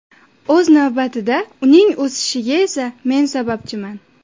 O‘z navbatida uning o‘sishiga esa men sababchiman”.